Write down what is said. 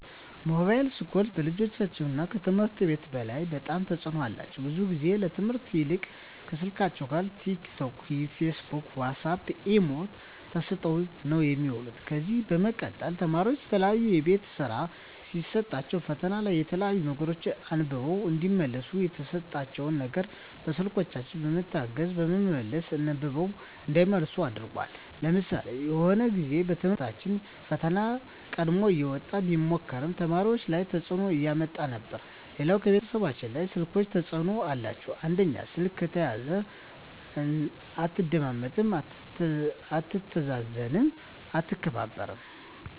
ሞባይል ስልኮች በልጆች ከትምህርት ላይ በጣም ተጽዕኖ አላቸው ብዙ ግዜ ከትምህርት ይልቅ ከስልካቸው ካለው ቲክ ቶክ ፊስቡክ ዋሳፕ ኢሞ ተሰጠው ነው የሚውሉ ከዚ በመቀጠል ተማሪዎች የተለያዩ የቤት ስራ ሲሰጣቸዉ ፈተና ላይ የተለያዩ ነገሮች አንብበው እዲመልሱ የተሰጣቸው ነገር በስልኮች በመታገዝ በመመለስ አንብበው እንዳይመልሱ አድርጓል ለምሳሌ የሆነ ግዜ በትምህርት ቤቶች ፈተና ቀድሞ እየወጣ ሚሞክሩ ተማሪዎች ላይ ተጽዕኖ እያመጣ ነበር ሌላው ከቤተሰብ ላይ ስልኮች ተጽዕኖ አላቸው አንደኛው ስልክ ከተያዘ አትደማመጥም አትታዘዝም አትከባበርም